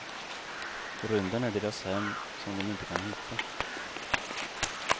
Rymden är deras hem som de inte kan hitta.